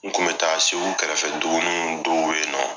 N kun bɛ taa segu kɛrɛfɛ dugu mun dɔw yen nɔ